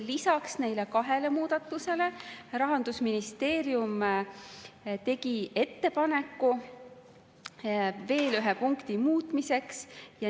Lisaks neile kahele muudatusele Rahandusministeerium tegi ettepaneku veel ühe punkti muutmiseks.